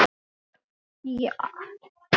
Þetta er samt gaman.